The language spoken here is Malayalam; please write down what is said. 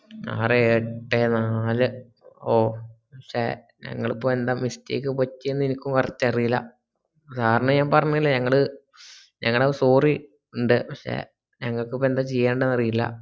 അറേ ഏയെ എട്ടെ നാല് ഓ sir ഞങ്ങള്പോ എന്താ mistake പറ്റിയെ എനിക്ക് അറീല്ല sir ന് ഞാൻ പറഞ്ഞില്ലേ ഞങ്ങള് ഞങളെ sorry ണ്ട് പക്ഷെ ഞങ്ങക്പ്പോ എന്താ ചെയ്യണ്ട് അറീല്ല